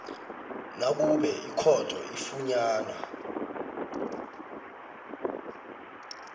nakube ikhotho ifunyana